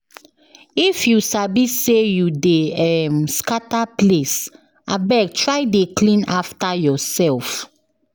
If you sabi say you dey um scatter place, abeg try dey clean after yourself.